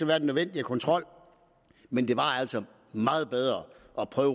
være den nødvendige kontrol men det var altså meget bedre